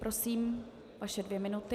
Prosím, vaše dvě minuty.